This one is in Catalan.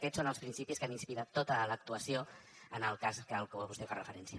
aquests són els principis que han inspirat tota l’actuació en el cas a què vostè fa referència